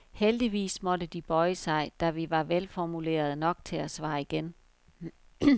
Heldigvis måtte de bøje sig, da vi var velformulerede nok til at svare igen.